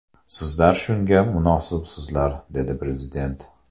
Sizlar shunga munosibsizlar”, dedi Prezident.